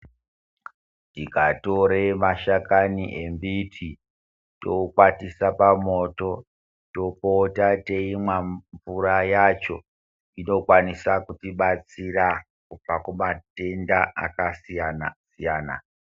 Tikatore mashakani emiti tokwatise pamoto topota teimwa mvura yacho inokwanisa kutibatsira pamatenda akasiyana siyana .